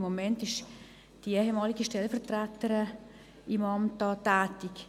Im Moment ist die ehemalige Stellvertreterin im Amt tätig.